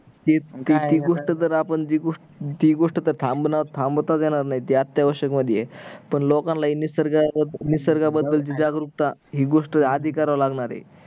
ते ते गोष्ट गोष्ट तर थांबणा थांबवताच येणार नाही अति आवश्यक मधी आहे पण लोकांना निसर्ग निसर्गा बद्द्ल जे जागरूकता हि गोष्ट आधी कराव लागणार आहे